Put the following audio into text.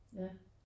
Ja